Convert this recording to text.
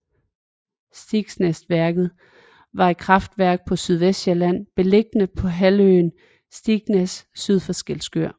Stigsnæsværket var et kraftværk på Sydvestsjælland beliggende på halvøen Stigsnæs syd for Skælskør